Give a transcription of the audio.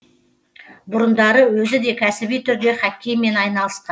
бұрындары өзі де кәсіби түрде хоккеймен айналысқан